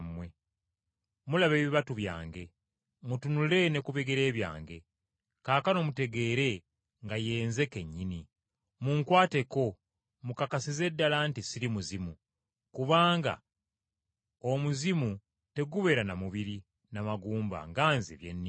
Mulaba ebibatu byange. Mutunule ne ku bigere byange! Kaakano mutegeere nga ye Nze kennyini. Munkwateko mukakasize ddala nti ssiri muzimu, kubanga omuzimu tegubeera na mubiri na magumba nga Nze bye nnina.”